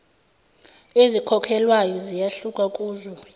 ezikhokhelwayo ziyahluka kuzwe